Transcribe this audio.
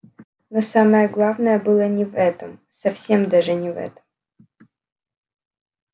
но самое главное было не в этом совсем даже не в этом